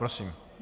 Prosím.